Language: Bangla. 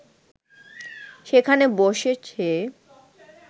সেখানে বসে সে